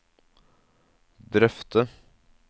drøfte